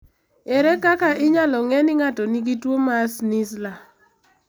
Ere kaka inyalo ng'e ni ng'ato nigi tuwo mar Schnitzler?